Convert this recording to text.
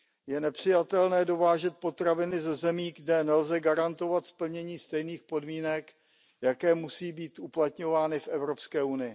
Je nepřijatelné dovážet potraviny ze zemí, kde nelze garantovat splnění stejných podmínek, jaké musí být uplatňovány v EU.